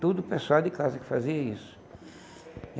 Todo pessoal de casa que fazia isso.